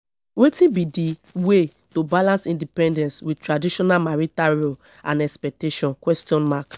wetin be di way to balance independence with traditional marital roles and expectations question mark